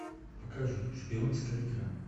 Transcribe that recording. покажи шпионская игра